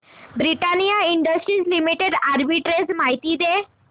Britannia Industries Limited arbitrage माहिती दे